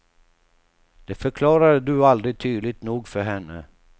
Det förklarade du aldrig tydligt nog för henne.